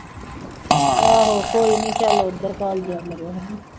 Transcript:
ਆਹੋ ਕੋਈ ਨੀ ਚੱਲ ਉੱਧਰ ਘੱਲਦਿਆ ਕਰਿਓ ਹਨਾ